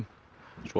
svo